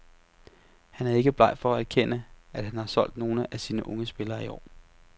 Han er ikke bleg for at erkende, at han har solgt nogle af sine unge spillere i år.